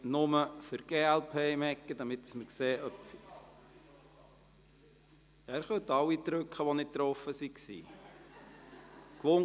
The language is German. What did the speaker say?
Ja, alle, deren Stimme bei der Abstimmung nicht angezeigt und gezählt wurde, dürfen beim Test die Anlage noch einmal betätigen.